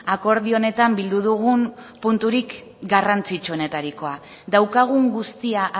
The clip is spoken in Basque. akordio honetan bildu dugun punturik garrantzitsuenetarikoa daukagun guztia